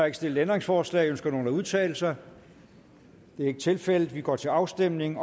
ikke stillet ændringsforslag ønsker nogen at udtale sig det er ikke tilfældet så vi går til afstemning